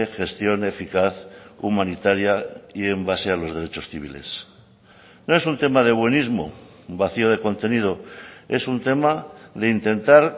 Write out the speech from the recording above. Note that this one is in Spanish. gestión eficaz humanitaria y en base a los derechos civiles no es un tema de buenismo vacío de contenido es un tema de intentar